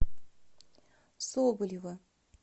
соболева